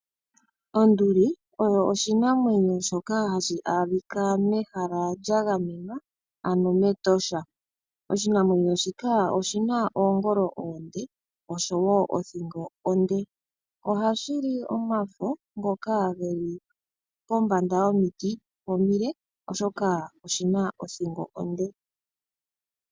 Onduli oyo oshinamwenyo shoka hashi adhika mehala lya gamenwa, ano mEtosha. Oshinamwenyo shika oshina oongolo oonde, oshowo othingo onde. Ohashi li omafo ngoka geli pombanda yomiti omile, oshoka oshina othingo onde.